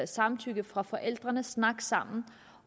samtykke fra forældrene kan snakke sammen